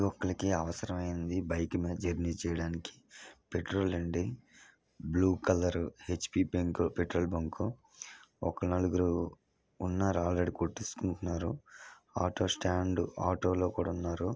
యూక్లికి అవసరమైంది బైక్ మీద జర్నీ చేయడానికి పెట్రోల్ అండి blue colour HP bunk petrol bunk ఒక నలుగురు ఉన్నారు ఆల్రెడీ కొట్టేసుకుంటున్నారు ఆటో స్టాండ్ ఆటో లో కూడా ఉన్నారు.